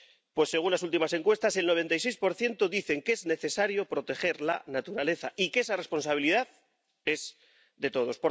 Pues, según las últimas encuestas, el 96 dice que es necesario proteger la naturaleza y que esa responsabilidad es de todos.